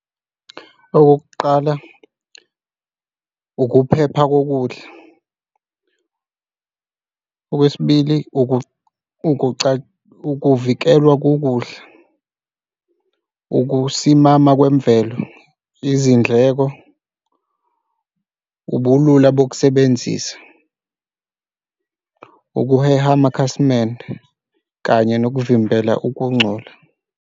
Okokuqala ukuphepha kokudla. Okwesibili ukuvikelwa kokudla, ukusimama kwemvelo, izindleko, ubulula bokusebenzisa, ukuheha amakhasimende kanye nokuvimbela ukungcola.